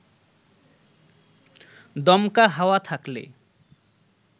দমকা হাওয়া থাকলে